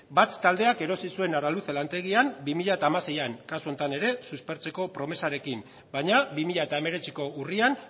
batz taldeak erosi zuen araluce lantegia bi mila hamaseian kasu honetan ere suspertzeko promesarekin baina bi mila hemeretziko urrian